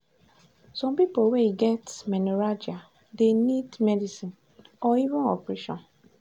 some people wey get menorrhagia dey need medicine or even operation.